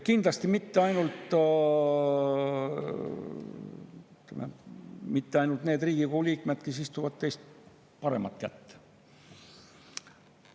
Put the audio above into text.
Kindlasti ei ole selles olukorras mitte ainult need Riigikogu liikmed, kes istuvad teist paremat kätt.